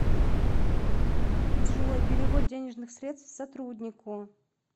джой перевод денежных средств сотруднику